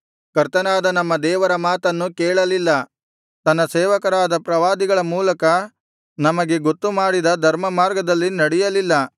ಕರ್ತನಾದ ನಮ್ಮ ದೇವರ ಮಾತನ್ನು ಕೇಳಲಿಲ್ಲ ತನ್ನ ಸೇವಕರಾದ ಪ್ರವಾದಿಗಳ ಮೂಲಕ ನಮಗೆ ಗೊತ್ತು ಮಾಡಿದ ಧರ್ಮಮಾರ್ಗದಲ್ಲಿ ನಡೆಯಲಿಲ್ಲ